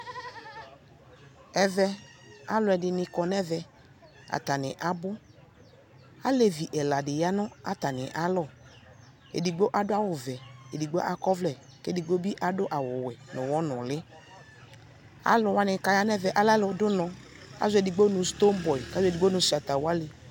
ɛvɛ alʋɛdini kɔnʋ ɛvɛ, atani abʋ, alɛvi ɛla di yanʋ atani alɔ, ɛdigbɔ adʋ awʋ vɛ, ɛdigbɔ akɔ ɔvlɛ kʋ ɛdigbɔ ɛdigbɔ bi adʋ awʋ wɛ nʋ ʋwɔ nʋli, alʋ wani kʋ ayanʋ ɛmɛ lɛ alʋ dʋ ʋnɔ, azɔ ɛdigbɔ nʋ stonebwoʋy kʋ azɔ ɛdigbɔ nʋ Shatta Wale